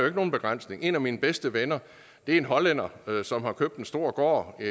ikke nogen begrænsning en af mine bedste venner er en hollænder som har købt en stor gård i